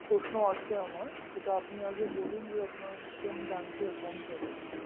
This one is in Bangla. প্রশ্ন আছে আমার সেটা আপনি আগে বলুন যে আপনার কোন bank র account আছে